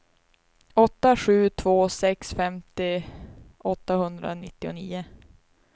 åtta sju två sex femtio åttahundranittionio